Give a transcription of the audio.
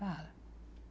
Fala.